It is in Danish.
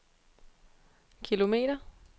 kilometer